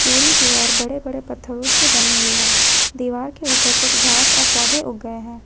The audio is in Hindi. पूरी दीवार बड़े बड़े पत्थर से बनी हुई है दीवार के ऊपर कुछ घास और पौधे उग गए हैं।